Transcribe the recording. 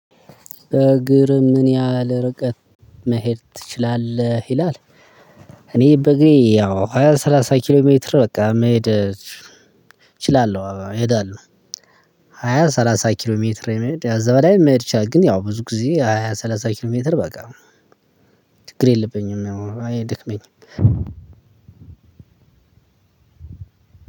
በእግር ምን ያህል ርቀት መሄድ ትችላለህ? ይላል። እኔ በእግሬ ያው ሃያ ሰላሳ ኪሎ ሜትር በቃ መሄድ እችላለሁ እሄዳለሁ። ሃያ- ሰላሳ ኪሎ ሜትር የመሄድ እዛ በላይ መሄድ ይቻላል። ግን ያው ብዙ ጊዜ ሃያ ሰላሳ ኪሎ ሜትር በቃ ችግር የለብኝም ያው አይደክመኝም።